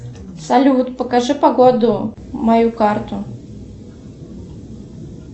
салют покажи погоду мою карту